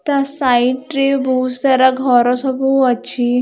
ତା ସାଇଟ ରେ ବହୁତ୍ ସାରା ଘର ସବୁ ଅଛି ।